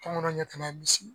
Tɔnkɔnɔ ɲɛ tana ye misi ye